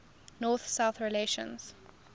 north south relations